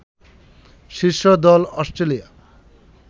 শীর্ষ দল অস্ট্রেলিয়া